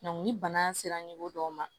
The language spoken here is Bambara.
ni bana sera dɔw ma